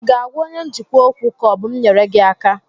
Ị ga-àgwá onye njikwa ókwú, ka ọ bụ m nyere gị aka?